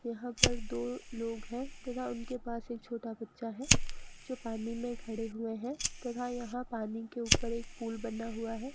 यहां पर दो लोग हैं तथा उनके पास एक छोटा बच्चा है जो पानी में खड़े हुए हैं तथा यहां पानी के ऊपर एक पुल बना हुआ है।